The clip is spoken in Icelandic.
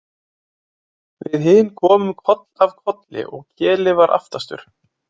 Við hin komum koll af kolli og Keli var aftastur.